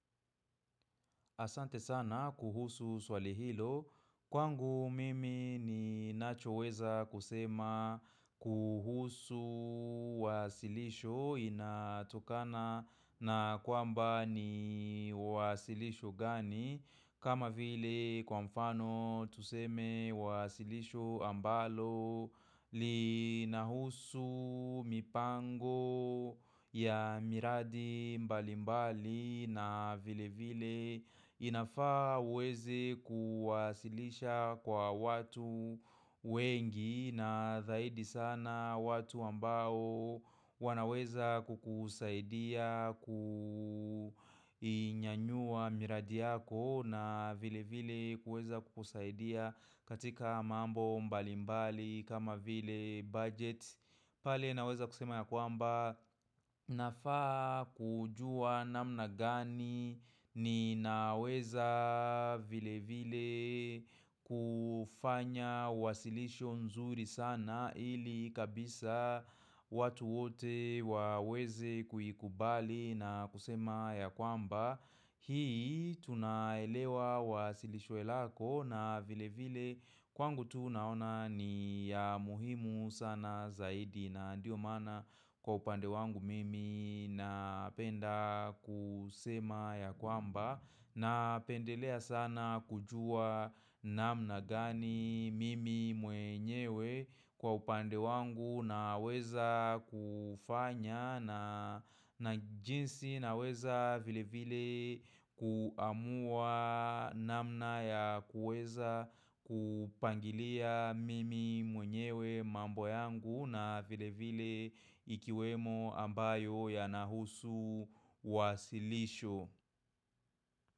Asante sana kuhusu swali hilo, kwangu mimi ni nachoweza kusema kuhusu wasilisho inatokana na kwamba ni wasilisho gani kama vile kwa mfano tuseme wasilisho ambalo lina husu mipango ya miradi mbali mbali na vile vile inafaa uwezi kuwasilisha kwa watu wengi na zaidi sana watu ambao wanaweza kukusaidia kuinyanyua miradi yako na vile vile kuweza kukusaidia katika mambo mbali mbali kama vile budget. Pale naweza kusema ya kwamba nafaa kujua namna gani ni naweza vile vile kufanya wasilisho nzuri sana ili kabisa watu wote waweze kuikubali na kusema ya kwamba Hii tunaelewa wasilishwe lako na vile vile kwangu tu naona ni ya muhimu sana zaidi na ndio maana kwa upande wangu mimi napenda kusema ya kwamba na pendelea sana kujua namna gani mimi mwenyewe kwa upande wangu na weza kufanya na jinsi na weza vile vile kuamua namna ya kuweza kupangilia mimi mwenyewe mambo yangu na vile vile ikiwemo ambayo ya nahusu wasilisho.